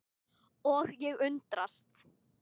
Og ég undrast.